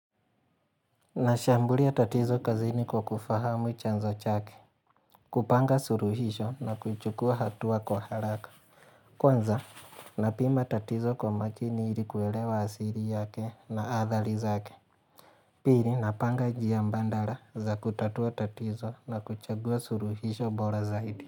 Nashambulia tatizo kazini kwa kufahamu chanzo chake. Kupanga suluhisho na kuchukua hatua kwa haraka. Kwanza, napima tatizo kwa makini ili kuelewa asili yake na athari zake. Pili, napanga njia mbadala za kutatua tatizo na kuchagua suluhisho bora zaidi.